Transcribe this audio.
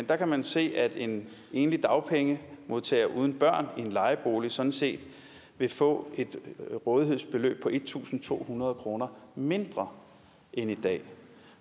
der kan man se at en enlig dagpengemodtager uden børn i en lejebolig sådan set vil få et rådighedsbeløb på en tusind to hundrede kroner mindre end i dag